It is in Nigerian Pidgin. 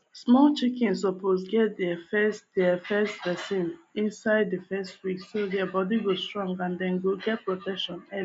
small chickens suppose get deir first deir first vaccine inside the first week so deir body go strong and dem go get protection early